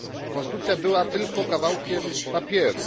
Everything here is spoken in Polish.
Konstytucja była tylko kawałkiem papieru.